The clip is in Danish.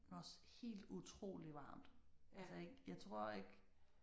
Men også helt utroligt varmt. Altså jeg tror ikke